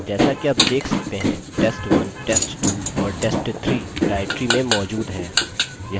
जैसा कि आप देख सकते हैं test1 test2 और test3 directory में मौजूद हैं